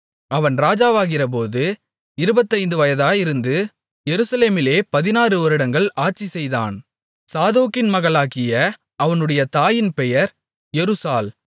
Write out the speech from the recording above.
அவன் ராஜாவாகிறபோது இருபத்தைந்து வயதாயிருந்து எருசலேமிலே பதினாறுவருடங்கள் ஆட்சிசெய்தான் சாதோக்கின் மகளாகிய அவனுடைய தாயின் பெயர் எருசாள்